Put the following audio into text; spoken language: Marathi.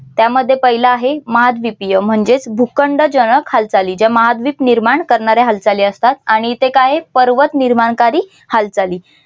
त्यामध्ये पहिला आहे महाद्वीपीय म्हणजेच भूखंड जनक हालचाली ज्या महाद्वीप निर्माण करणाऱ्या हालचाली असतात आणि इथे काय पर्वत निर्माण कारी हालचाली